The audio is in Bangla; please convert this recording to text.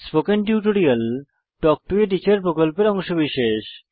spoken tutorial talk to a teacher প্রকল্পের অংশবিশেষ